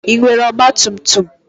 Ị nwere ọgba tum tum?